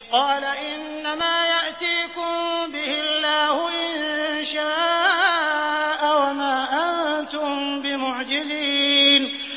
قَالَ إِنَّمَا يَأْتِيكُم بِهِ اللَّهُ إِن شَاءَ وَمَا أَنتُم بِمُعْجِزِينَ